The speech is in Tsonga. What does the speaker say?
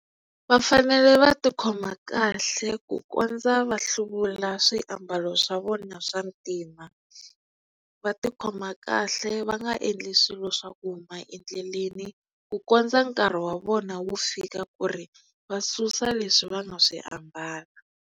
Va fanele va tikhoma kahle ku kondza va hluvula swiambalo swa vona swa ntima va tikhoma kahle va nga endli swilo swa ku huma endleleni ku kondza nkarhi wa vona wu fika ku ri va susa leswi va nga swi ambala.